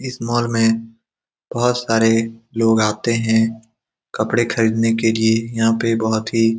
इस मॉल में बहुत सारे लोग आते है कपड़े खरीदने के लिए यहां पे बहोत ही --